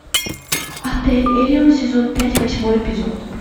отель элеон сезон пять восьмой эпизод